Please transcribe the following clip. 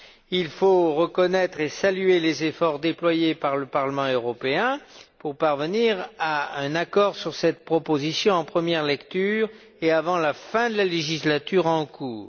Il faut reconnaître et saluer les efforts déployés par le Parlement européen pour parvenir à un accord sur cette proposition en première lecture, et avant la fin de la législature en cours.